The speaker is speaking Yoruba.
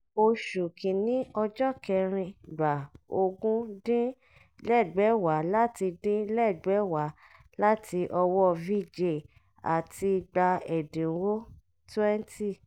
oṣù kìíní ọjọ́ kẹrin: gbà ogún dín lẹ́gbẹ̀wá láti dín lẹ́gbẹ̀wá láti ọwọ́ vijay àti gbà ẹ̀dínwó twenty